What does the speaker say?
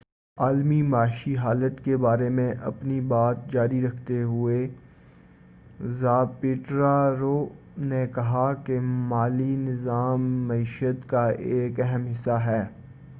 عالمی معاشی حالت کے بارے میں اپنی بات جاری رکھتے ہوئے زاپیٹرو نے کہا کہ مالی نظام معیشت کا ایک اہم حصہ ہے